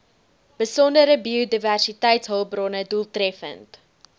besondere biodiversiteitshulpbronne doeltreffend